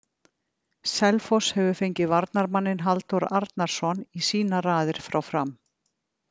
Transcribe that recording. Selfoss hefur fengið varnarmanninn Halldór Arnarsson í sínar raðir frá Fram.